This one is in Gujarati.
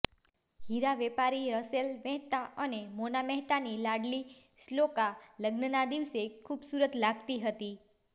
હીરા વેપારી રસેલ મહેતા અને મોના મહેતાની લાડલી શ્લોકા લગ્નના દિવસે ખૂબસુરત લાગતી હતી